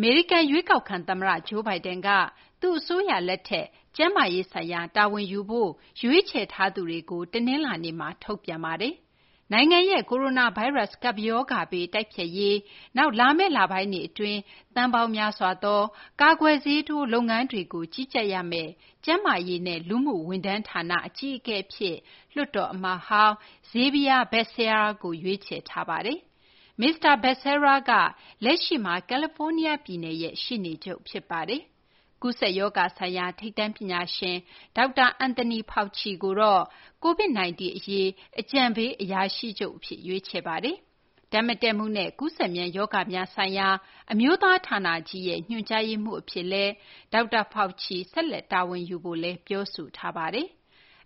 မေရိကန် ရွေးကောက်ခံ သမ္မတ Joe Biden က သူ့အစိုးရလက်ထက် ကျန်းမာရေးဆိုင်ရာ တာဝန်ယူဖို့ ရွေးချယ်ထားသူတွေကို တနလာၤနေ့မှာ ထုတ်ပြန်ပါတယ်။ နိုင်ငံရဲ့ ကိုရိုနာဗိုင်းရပ်စ် ကပ်ရောဂါဘေး တိုက်ဖျက်ရေး၊ နောက် လာမယ့်လပိုင်းတွေ အတွင်း သန်းပေါင်းများစွာသော ကာကွယ်ဆေးထိုး လုပ်ငန်းတွေကို ကြီးကြပ်ရမယ့် ကျန်းမာရေးနဲ့ လူမှုဝန်ထမ်းဌာန ဝန်ကြီး အဖြစ် လွှတ်တော် အမတ်ဟောင်း Xavier Becerra ကို ရွေးချယ်ထားပါတယ်။ မစ္စတာ Becerra က လက်ရှိမှာ ကယ်လီဖိုးနီးယားပြည်နယ် ရှေ့နေချုပ် ဖြစ်ပါတယ်။ ကူးစက်ရောဂါ ဆိုင်ရာ ထိပ်တန်း ပညာရှင် ဒေါက်တာ Anthony Fauci ကိုေတော့ COVID-19 အရေး အကြံပေး အရာရှိချုပ် အဖြစ် ရွေးချယ်ထားပါတယ်။ ဓာတ်မတည့်မှုနဲ့ ကူးစက်မြန် ရောဂါများဆိုင်ရာ အမျိုးသား ဌာနကြီးရဲ့ ညွှန်ကြားရေးမှူး အဖြစ်လည်း ဒေါက်တာ Fauci ဆက်လက် တာဝန်ယူဖို့လည်း ပြောဆိုထားပါတယ်။